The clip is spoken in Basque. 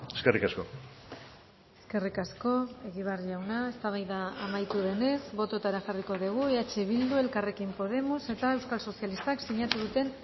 eskerrik asko eskerrik asko egibar jauna eztabaida amaitu denez bototara jarriko dugu eh bildu elkarrekin podemos eta euskal sozialistak sinatu duten